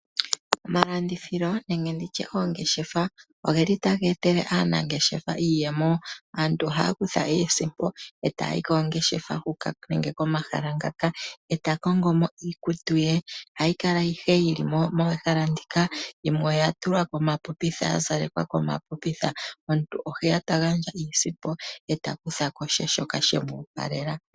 Omalandithilo nenge nditye oongeshefa, ogeli taga etele aanangeshefa iiyemo. Aantu ohaya kutha iisimpo e taya yi noongeshefa huka nenge komahala ngaka, e ta kongomo iikutu ye. Ohayikala ayihe yili moothalatika, yimwe oyatulwa komapopitha omuntu oheya tagandja iisimpo e takuthako she shoka shemu opalela.